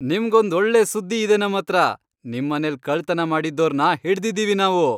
ನಿಮ್ಗೊಂದ್ ಒಳ್ಳೆ ಸುದ್ದಿ ಇದೆ ನಮ್ಹತ್ರ, ನಿಮ್ಮನೆಲ್ ಕಳ್ತನ ಮಾಡಿದ್ದೋರ್ನ ಹಿಡ್ದಿದೀವಿ ನಾವು!